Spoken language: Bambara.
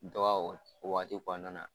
Dɔ b'a w o waati kɔɔna na.